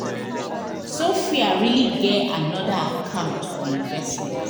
sophia really get another account for investment